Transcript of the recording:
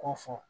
K'o fɔ